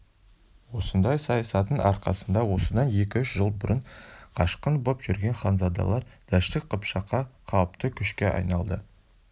осындай саясаттың арқасында осыдан екі-үш жыл бұрын қашқын боп жүрген ханзадалар дәшті қыпшаққа қауіпті күшке айналды